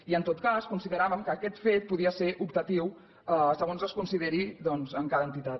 i en tot cas consideràvem que aquest fet podia ser optatiu segons es consideri doncs amb cada entitat